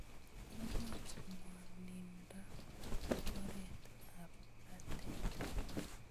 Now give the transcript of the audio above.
Imuch ng'wondindo ab rotet ab batet.